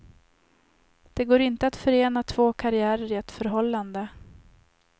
Det går inte att förena två karriärer i ett förhållande.